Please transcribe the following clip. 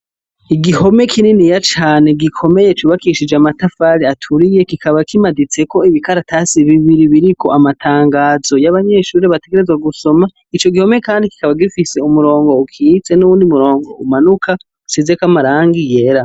Igihome kininiya cane gikomeye cubakishije amatafari aturiye kikaba kimaditseko ibikaratasi bibiri biriko amatangazo y'abanyeshure bategerezwa gusoma, ico gihome kandi kikaba gifise umurongo ukitse n'uwundi murongo umanuka usizek'amarangi yera